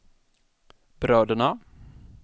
bröderna